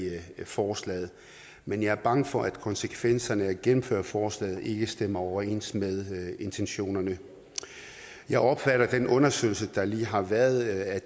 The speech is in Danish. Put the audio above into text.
forslaget men jeg er bange for at konsekvenserne af at gennemføre forslaget ikke stemmer overens med intentionerne jeg opfatter den undersøgelse der lige har været af